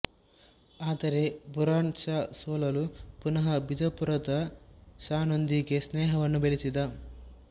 ಆದರೆ ಬುರಾನ್ ಷಾ ಸೋಲಲು ಪುನಃ ಬಿಜಾಪುರದ ಷಾನೊಂದಿಗೆ ಸ್ನೇಹವನ್ನು ಬೆಳೆಸಿದ